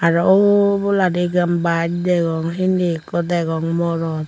aro oboladi ekkan bus degong sindi ekko degong morot.